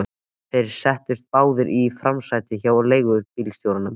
Þeir settust báðir í framsætið hjá leigubílstjóranum.